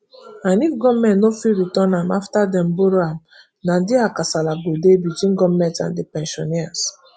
and if gomet no fit return am afta dem borrow am na dia kasala go dey between goment and di pensioners